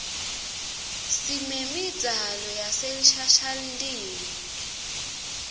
simemidzalo yaseshashalntini